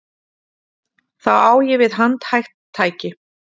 Þá á ég við handhægt tæki.